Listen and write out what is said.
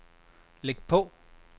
læg på